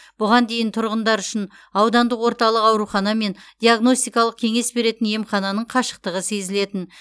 бұған дейін тұрғындар үшін аудандық орталық аурухана мен диагностикалық кеңес беретін емхананың қашықтығы сезілетін